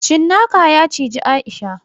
Cinnaka ya cizi Aisha.